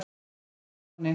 Klettatúni